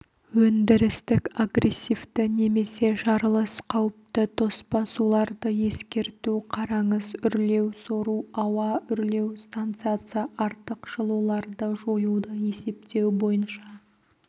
өндірістік агрессивті немесе жарылыс қауіпті тоспа суларды-ескерту қараңыз үрлеу сору ауа үрлеу станциясы артық жылуларды жоюды есептеу бойынша